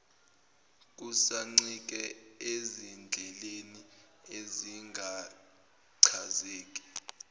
kusancike ezindleleni ezingachazeki